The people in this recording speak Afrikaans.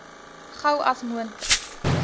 gou as moontlik